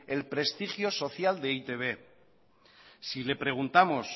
el prestigio social de e i te be si le preguntamos